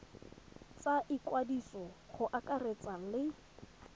tsa ikwadiso go akaretsa le